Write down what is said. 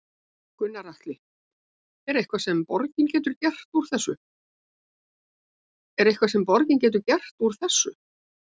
Gunnar Atli: Er eitthvað sem að borgin getur gert úr þessu?